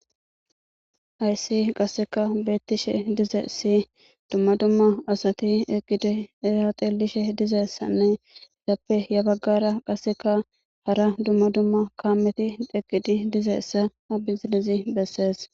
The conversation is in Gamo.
Haysi qasseka beettishe dize si dumma dumma asati eqqidi ezaxelishe dizeyssanne yappe ya baggara qasseka hara dumma dumma kaameti eqqidi dizeessa abizilizi bessees.